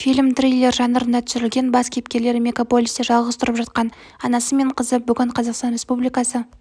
фильм триллер жанрында түсірілген бас кейіпкерлері мегаполисте жалғыз тұрып жатқан анасы мен қызы бүгін қазақстан республикасы